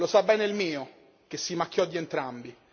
Lo sa bene il mio, che si macchiò di entrambi.